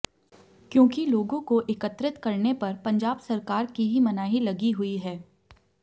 क्योंकि लोगों को एकत्रित करने पर पंजाब सरकार की ही मनाही लगी हुई है